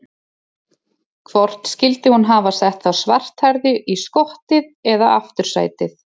Hvort skyldi hún hafa sett þá svarthærðu í skottið eða aftursætið?